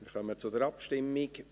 Wir kommen zur Abstimmung.